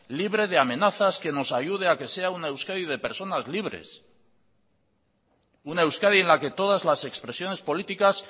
libre de amenazas que nos ayude a que sea una euskadi de personas libres una euskadi en la que todas las expresiones políticas